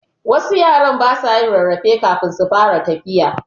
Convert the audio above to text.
Wasu yara basa yin rarrafe kafin su fara tafiya